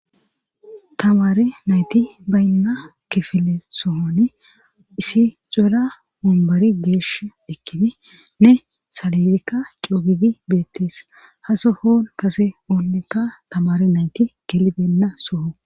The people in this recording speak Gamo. Tamare nayti baynna kifile sohoni isi xuura mumbari geesh ekkini ne saliyekka coogidi beettees hasohon kase oonnekka tamare nayti gelibenna soho.